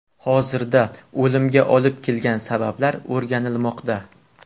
Hozirda o‘limga olib kelgan sabablar o‘rganilmoqda.